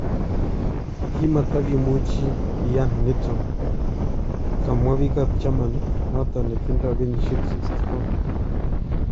kimatakimuchi kiyaan niton" kamwaa biik ab Germany noton netindo kenyisyeek 64.